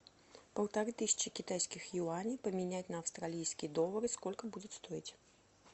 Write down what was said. полторы тысячи китайских юаней поменять на австралийские доллары сколько будет стоить